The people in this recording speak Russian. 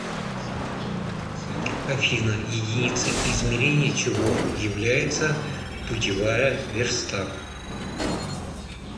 афина единицей измерения чего является путевая верста